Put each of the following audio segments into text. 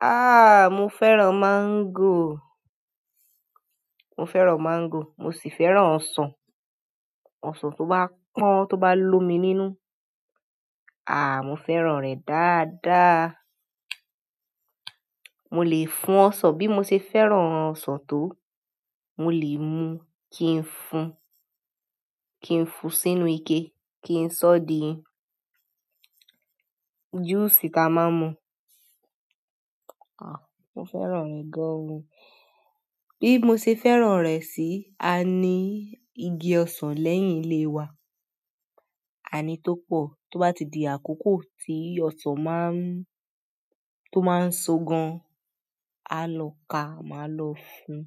Ah, mo fẹ́ràn mango. Mo fẹ́ràn mango, mo sì fẹ́ràn ọsàn. Osan to ba pon toba lomi nínú a mo fẹ́ràn re daa da. Mo lè fún ọsàn bí mo ṣe fẹ́ràn ọsàn tó. Mo lè mu, kí n fún, kí n fún sínú ike, kí n sọ di juice tá a máa ń mu. Ah, mo fẹ́ràn rẹ̀ gan. Bí mo ṣe fẹ́ràn rẹ̀ sí, a ní igi ọsàn lẹ́yìn ilé wa. A ní tó pọ̀. Tó bá ti di àkókò tí ọsàn má ń, tó má ń so gan, a lọ ká, màá lọ fún.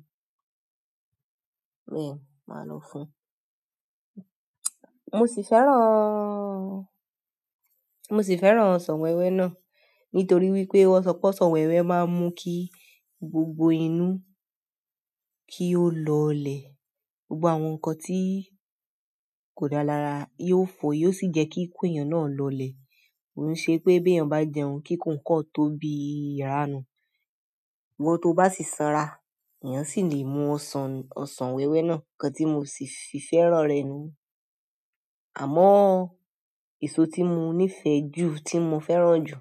Bẹ́ẹ̀, màá lọ fún. Mo sì fẹ́ràn, mo sì fẹ́ràn ọsàn wẹ́wẹ́ náà. Nítorí wípé wọ́n sọ pé ọsàn wẹ́wẹ́ máa ń mú kí gbogbo inú kí ó lọlẹ̀. Gbogbo àwọn nǹkan tí kò dá lára yóò fò, yóò sì jẹ́ kí ikú èèyàn náà lọlẹ̀. Kon ṣe pé bí èèyàn bá jẹun kíkún kọ́n tó bí ìrànù, iwo tó bá sì sanra, èèyàn sì lè mú ọsàn, ọsàn wẹ́wẹ́ náà. Ǹkan tí mo sì fi fẹ́ràn rẹ̀ nu. Àmọ́ èso tí mo nífẹ̀ẹ́ jù, tí mo fẹ́ràn jù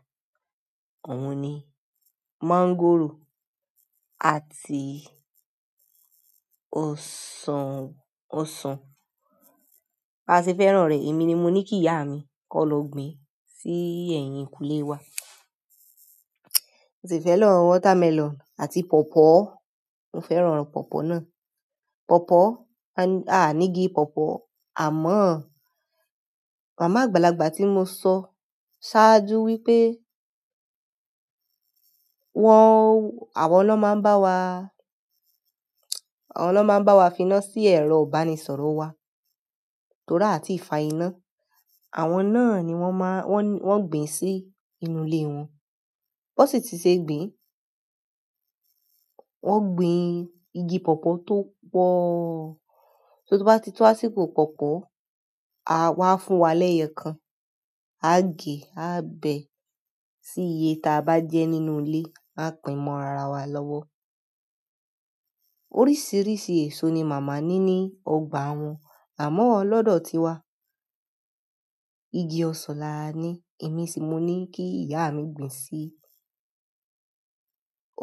ọ̀ún ni máńgòrò àti ọsàn, ọsàn. A sì fẹ́ràn rẹ̀. Èmi ni mo ní kí ìyá mi kó lọ gbìn sí ẹ̀yìnkùlé wa. Mo sì fẹ́ràn watermelon àti pọ̀pọ́. Mo fẹ́ràn pọ̀pọ́ náà. Pọ̀pọ́, a ní, a ní igi pọ̀pọ́. Àmọ́ màmá àgbàlagbà tí mo sọ sáájú wípé wọ́n, àwọn ló máa ń bá wa, àwọn ló máa ń bá wa finá sí ẹ̀rọ ìbánisọ̀rọ̀ wa. Tóra àti ìfàìná. Àwọn náà ni wọ́n máa, wọ́n gbìn sí inú ilé wọn. Won si ti se gbin. Wọ́n gbìn igi pọ̀pọ́ tó pọ̀. Só tó bá ti tó àsìkò pọ̀pọ́, a, wọ́n á fún wa lẹ́yọkán. A gé, a bẹ, sí iye ta a bá jẹ́ nínú ilé. A pìn mọ́ ara wa lọ́wọ́. Oríṣìíríṣìí èso ni màmá ní ní ọgbà wọn, àmọ́ lọ́dọ̀ tiwa igi ọsàn la ní. Èmi sì mo ní kí ìyá mi gbìn sí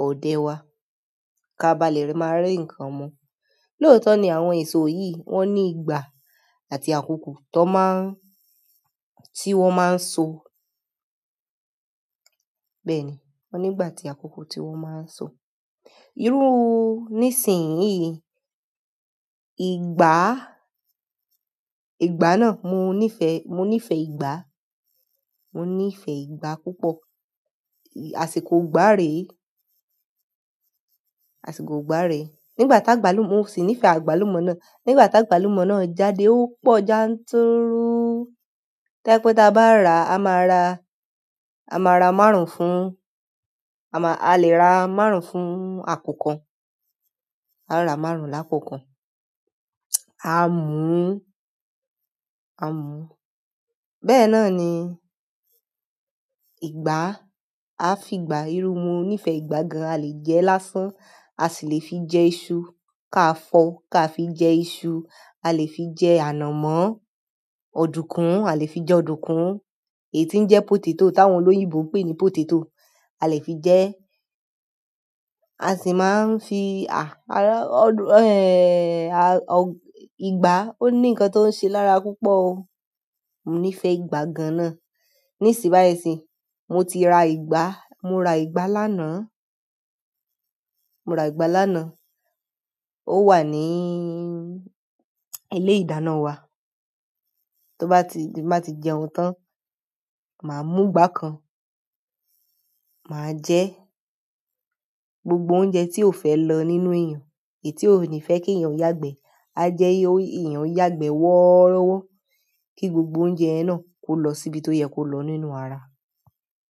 òde wa. Ka a bá lè máa rí ǹkan mu. Lótọ́ ni àwọn èso yìí wọ́n ní ìgbà àti àkókò tó má ń, tí wọ́n máa ń so. Bẹ́ẹ̀ ni, wọ́n ní ìgbà àti àkókò tí wọ́n máa ń so. Irú níìsín yìí, ìgbá, ìgbá náà mo nífẹ̀ẹ́, mo nífẹ̀ẹ́ ìgbá. Mo nífẹ̀ẹ́ ìgbá púpọ̀. Àsìkò ìgbá rè e. Àsìkò ìgbá rè e. Nígbà tá a gbàlúmọ̀, mo sì nífẹ̀ẹ́ àgbàlúmọ̀ náà. Nígbà tá a gbàlúmọ̀ náà jáde, ó pọ̀ já ń túrú. To jepẹ́ tí a bá ra, a máa ra, a máa ra márùn-ún fún, àmáà, a lè ra márùn-ún fún àpókàn. A ra márùn-ún lápòókàn. A mú, a mú. Bẹ́ẹ̀ náà ni ìgbá. A fi ìgbá, irú mo nífẹ̀ẹ́ ìgbá gan-an. A lè jẹ ẹ lásán, a sì lè fi jẹ iṣu. Kaafo kafi je isu. A lè fi jẹ ànàmọ́, ọ̀dùkún, a lè fi jẹ ọ̀dùkún. Èyí tí ń jẹ́ potato, táwọn olóyìnbó ń pè ní potato, a lè fi jẹ. A sì máa ń fi, à, ará, ọ́dù, ẹ́ẹ̀, ìgbá, ó ní ǹkan tó ń ṣe lára púpọ̀ o. Mo nífẹ̀ẹ́ ìgbá gan-an na. Nísìbáyìsìì, mo ti ra ìgbá. Mo ra ìgbá lánàá. Mo ra ìgbá lánàá. Ó wà ní ilé-ìdáná wa. Tó bá ti di ti n ba ti jẹun tán, màá mú ìgbá kan. Màá jẹ gbogbo oúnjẹ tí ó fẹ́ lọ nínú èèyàn, èyí tí ó ni fẹ́ kí èèyàn yàgbẹ́. A jẹ́ ẹ, èèyàn yàgbẹ́ wọ́rọ́wọ́, kí gbogbo oúnjẹ yẹn náà kó lọ síbi tó yẹ kó lọ nínú ara.